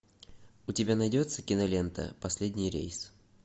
у тебя найдется кинолента последний рейс